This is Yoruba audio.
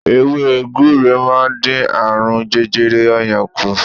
Ewé gbure máa ń dín àrùn jẹjẹrẹ oyan kù.